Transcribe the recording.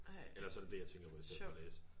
Ej sjovt